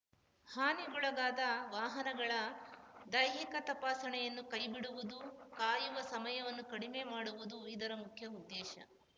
ಹಾನಿಗೊಳಗಾದ ವಾಹನಗಳ ದೈಹಿಕ ತಪಾಸಣೆಯನ್ನು ಕೈಬಿಡುವುದು ಕಾಯುವ ಸಮಯವನ್ನು ಕಡಿಮೆ ಮಾಡುವುದು ಇದರ ಮುಖ್ಯ ಉದ್ದೇಶ